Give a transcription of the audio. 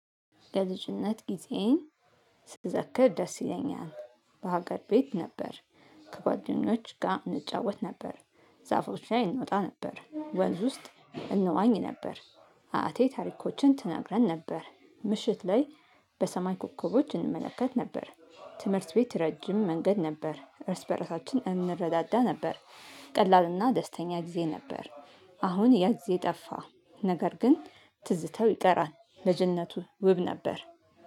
የልጅነት ጊዜዬን ስዘክር ደስ ይለኛል በሀገር ቤት ነበር። ከጓደኞች ጋር እንጫወት ነበር። ዛፎች ላይ እንወጣ ነበር ወንዝ ውስጥ እንዋኝ ነበር። አያቴ ታሪኮችን ትናግረን ነበር ምሽት ላይ በሰማይ ኮከቦች እንመለከት ነበር። ትምህርት ቤት ረጅም መንገድ ነበር እርስ በራሳችን እንረዳዳ ነበር። ቀላልና ደስተኛ ጊዜ ነበር። አሁን ያ ጊዜ ጠፋ ነገር ግን ትዝተው ይቀራል። ልጅነቱ ውብ ነበር።